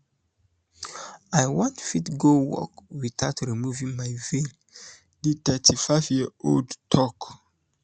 i wan fit go work witout witout removing my veil di thirty-fiveyearold tok